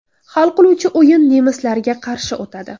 Hal qiluvchi o‘yin nemislarga qarshi o‘tadi.